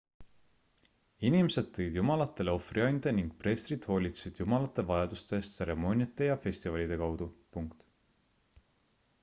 inimesed tõid jumalatele ohvriande ning preestrid hoolitsesid jumalate vajaduste eest tseremooniate ja festivalide kaudu